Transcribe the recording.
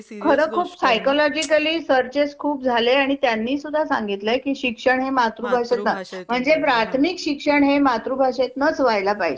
खरं खूप psychology searches खूप झाले आणि त्यांनी सुद्धा सांगितलंय शिक्षण हे मातृभाषेचा आहे म्हणजे प्राथमिक शिक्षण हे मातृभाषेतनच व्हायला पाहिजे.